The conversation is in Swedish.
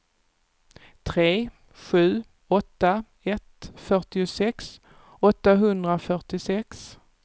tre sju åtta ett fyrtiosex åttahundrafyrtiosex